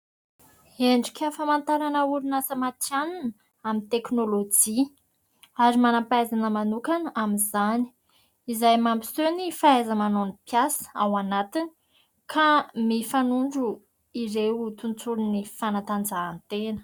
Endrika famantarana orinasa matihanina amin'ny teknolojia, ary manam-pahaizana manokana amin'izany; izay mampiseho ny fahaiza-manao ny mpiasa ao anatiny ka mifanondro ireo tontolon'ny fanatanjahan-tena.